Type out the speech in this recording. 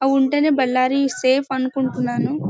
Ballari safe అనుకుంటున్నాను.